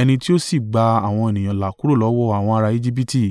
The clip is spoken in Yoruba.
ẹni tí ó sì gba àwọn ènìyàn là kúrò lọ́wọ́ àwọn ará Ejibiti.